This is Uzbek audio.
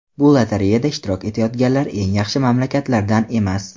Bu lotereyada ishtirok etayotganlar eng yaxshi mamlakatlardan emas.